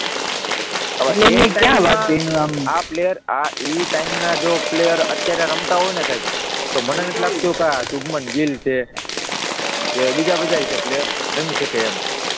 એ ટાઈમના જો પ્લેયર અત્યારે રમતા હોય ને સાહેબ, તો મને નથી લાગતું કે આ શુભમન ગિલ છે કે બીજા બધાય છે પ્લેયર રમી શકે એમ!